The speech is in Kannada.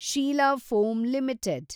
Sheila Foam limited